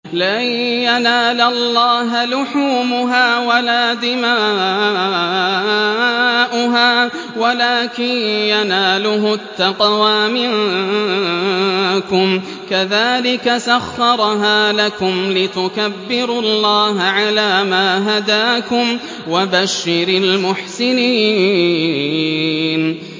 لَن يَنَالَ اللَّهَ لُحُومُهَا وَلَا دِمَاؤُهَا وَلَٰكِن يَنَالُهُ التَّقْوَىٰ مِنكُمْ ۚ كَذَٰلِكَ سَخَّرَهَا لَكُمْ لِتُكَبِّرُوا اللَّهَ عَلَىٰ مَا هَدَاكُمْ ۗ وَبَشِّرِ الْمُحْسِنِينَ